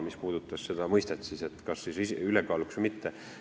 See puudutas seda mõistet, et kas siis on ülekaalukas või mitte.